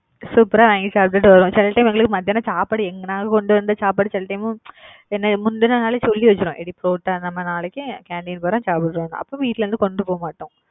super ஆ வாங்கி சாப்பிட்டுட்டு வருவோம். சில time எங்களுக்கு மத்தியானம் சாப்பாடு எங்கனாலும் கொண்டு வந்து சாப்பாடு சில time என்ன முந்தின நாளே சொல்லி வச்சிருவேன். ஏடி புரோட்டா நம்ம நாளைக்கு canteen போறோம் சாப்பிடுவோம் அப்ப வீட்டுல இருந்து, கொண்டு போக மாட்டோம்.